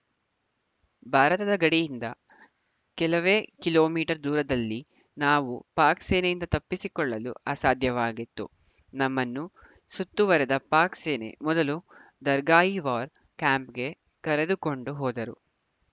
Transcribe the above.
ಭಾರತದ ಗಡಿಯಿಂದ ಕೆಲವೇ ಕಿಲೋ ಮೀಟರ್ ದೂರದಲ್ಲಿ ನಾವು ಪಾಕ್‌ ಸೇನೆಯಿಂದ ತಪ್ಪಿಸಿಕೊಳ್ಳಲು ಅಸಾಧ್ಯವಾಗಿತ್ತು ನಮ್ಮನ್ನು ಸುತ್ತುವರೆದ ಪಾಕ್‌ ಸೇನೆ ಮೊದಲು ದರ್ಗಾಯಿ ವಾರ್‌ ಕ್ಯಾಂಪ್‌ಗೆ ಕರೆದುಕೊಂಡು ಹೋದರು